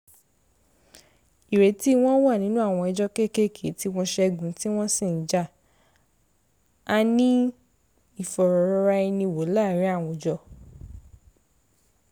ìrètí wọn wà nínú àwọn ẹjọ́ kéékèèké tí wọ́n ṣẹ́gun tí wọ́n sì ń jà á ní ìfọ̀rọ̀rora-ẹni-wò láàárín àwùjọ